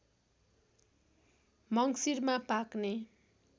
मङ्सिरमा पाक्ने